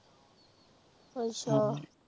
ਅੱਛਾ